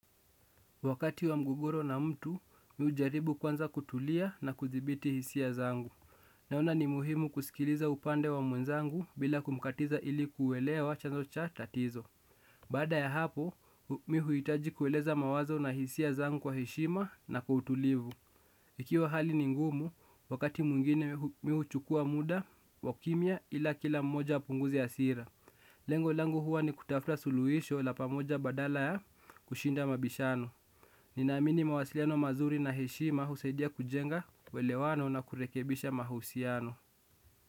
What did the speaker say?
Wakati wa mgogoro na mtu, mi hujaribu kwanza kutulia na kudhibiti hisia zangu. Naona ni muhimu kusikiliza upande wa mwenzangu bila kumkatiza ili kuelewa chanzo cha tatizo. Baada ya hapo, mi huhitaji kueleza mawazo na hisia zangu kwa heshima na kwa utulivu. Ikiwa hali ni ngumu, wakati mwingine mi huchukua muda wa kimya ila kila mmoja apunguze hasira. Lengo langu huwa ni kutafuta suluhisho la pamoja badala ya kushinda mabishano. Ninaamini mawasiliano mazuri na heshima husaidia kujenga uelewano na kurekebisha mahusiano.